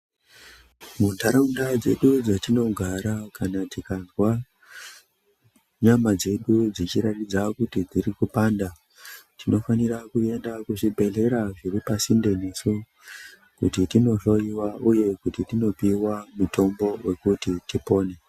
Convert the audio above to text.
Muntaraunda dzedu dzatinogara kana tikazwa nyama dzedu dzechiratidza kuti dziri kupanda tinofanira kuenda kuzvibhehlera zviri pasinde nesu kuti tinohloyiwa uye kuti tinopiwa mutombo wekuti tipone.